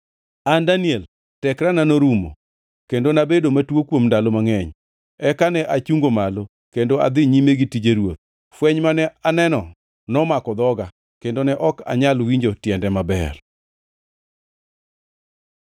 An Daniel, tekra norumo, kendo nabedo matuo kuom ndalo mangʼeny. Eka ne achungo malo, kendo adhi nyime gi tije ruoth. Fweny mane aneno nomako dhoga; kendo ne ok anyal winjo tiende maber.